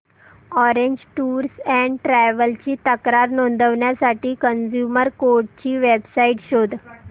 orange Tours and Travels ची तक्रार नोंदवण्यासाठी कंझ्युमर कोर्ट ची वेब साइट शोध